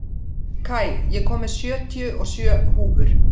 Kai, ég kom með sjötíu og sjö húfur!